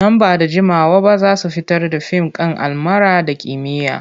Nan ba da jimawa ba za su fitar da fim kan almara na kimiyya.